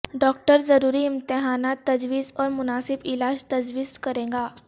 doctor ضروری امتحانات تجویز اور مناسب علاج تجویز کرے گا